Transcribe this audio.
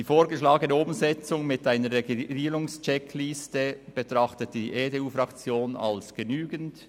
Die vorgeschlagene Umsetzung mittels einer Regulierungscheckliste betrachtet die EDU-Fraktion als genügend.